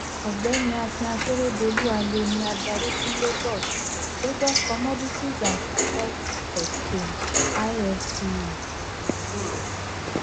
ọgbẹni akin akeredolu ale ní adarí fún lagos lagos commodities and futures exchange lfce